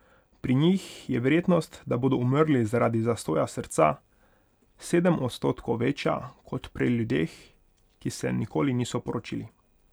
Pri njih je verjetnost, da bodo umrli zaradi zastoja srca, sedem odstotkov večja kot pri ljudeh, ki se nikoli niso poročili.